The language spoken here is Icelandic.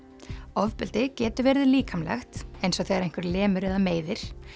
ofbeldi getur verið líkamlegt eins og þegar einhver lemur eða meiðir